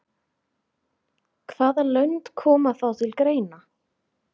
Hvaða lönd koma þá til greina?